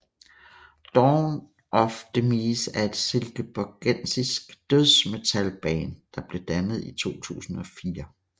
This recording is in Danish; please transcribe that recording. Dawn of Demise er et silkeborgensisk dødsmetalband som blev dannet i 2004